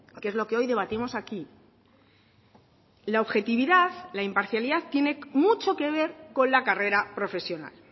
que es lo que hoy debatimos aquí la objetividad la imparcialidad tiene mucho que ver con la carrera profesional